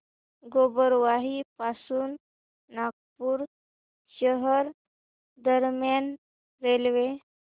गोबरवाही पासून नागपूर शहर दरम्यान रेल्वे